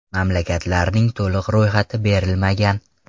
Mamlakatlarning to‘liq ro‘yxati berilmagan.